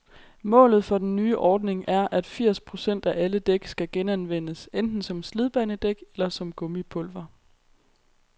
Målet for den nye ordning er, at firs procent af alle dæk skal genanvendes, enten som slidbanedæk eller som gummipulver.